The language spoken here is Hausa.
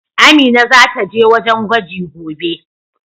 Amina zata je wajen gwaji gobe.